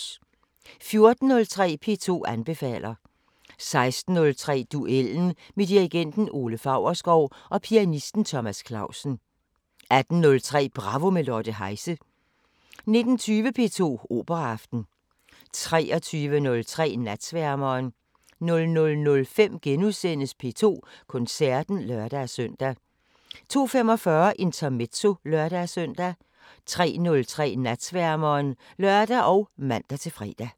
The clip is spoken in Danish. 14:03: P2 anbefaler 16:03: Duellen med dirigenten Ole Faurschou og pianisten Thomas Clausen 18:03: Bravo – med Lotte Heise 19:20: P2 Operaaften 23:03: Natsværmeren 00:05: P2 Koncerten *(lør-søn) 02:45: Intermezzo (lør-søn) 03:03: Natsværmeren (lør og man-fre)